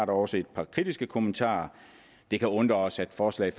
også et par kritiske kommentarer det kan undre os at forslaget